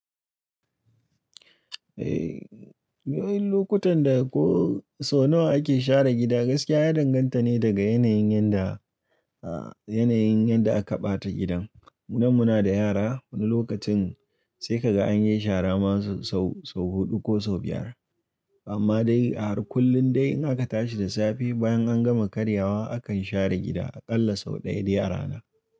Eh, yayin lokutan da ko sau nawa ake share gida gaskiya ya danganta ne daga yanayin yadda, ah yanayin yadda aka ɓata gidan. Munan muna da yara wani lokacin sai ka ga an yi shara ma sau, sau huɗu ko sau biyar. Amma dai a kullum dai in aka tashi da safe bayan an gama karyawa akan share gida a ƙalla sau ɗaya da yara na.